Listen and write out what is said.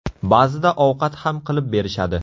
Ba’zida ovqat ham qilib berishadi.